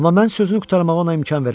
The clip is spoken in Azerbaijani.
Amma mən sözünü qurtarmağa ona imkan vermədim.